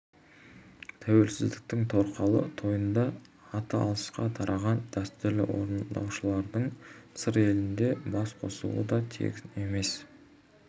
тәуелсіздіктің торқалы тойында аты алысқа тараған дәстүрлі орындаушылардың сыр елінде бас қосуы да тегін емес